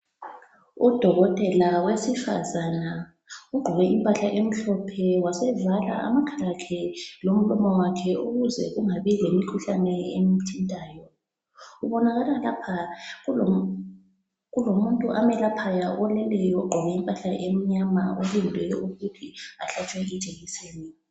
Udokotela wesifazane ugqoke impahla emhlophe wasevala amakhala akhe lomlomo wakhe ukuze kungabi lemikhuhlane emthintayo, kubonakala lapha kulomuntu amyelaphayo oleleyo ogqoke impahla emnyama olinde ukuthi ahlatshwe ijekiseni.